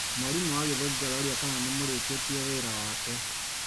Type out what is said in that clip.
mwarimũ wa gĩthũngũ aroria kana nĩmũrĩkĩtie wĩra wake?